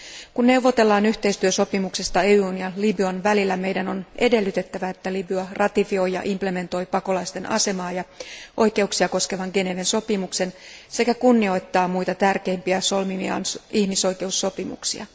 Kun neuvotellaan yhteistyösopimuksesta EUn ja Libyan välillä, meidän on edellytettävä, että Libya ratifioi ja panee täytäntöön pakolaisten asemaa ja oikeuksia koskevan Geneven sopimuksen sekä kunnioittaa muita tärkeimpiä solmimiaan ihmisoikeussopimuksia.